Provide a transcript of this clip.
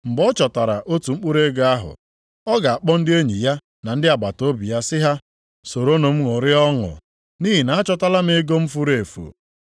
Mgbe ọ chọtara otu mkpụrụ ego ahụ, ọ ga-akpọ ndị enyi ya na ndị agbataobi ya sị ha, ‘Soronụ m ṅụrịa ọṅụ nʼihi na achọtala m ego m furu efu.’